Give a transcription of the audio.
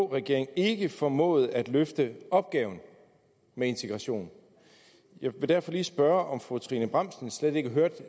regering ikke formåede at løfte opgaven med integrationen jeg vil derfor lige spørge om fru trine bramsen slet ikke hørte